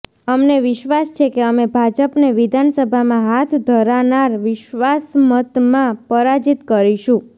અમને વિશ્વાસ છે કે અમે ભાજપને વિધાનસભામાં હાથ ધરાનાર વિશ્વાસમતમાં પરાજિત કરીશું